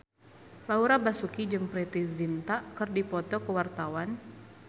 Laura Basuki jeung Preity Zinta keur dipoto ku wartawan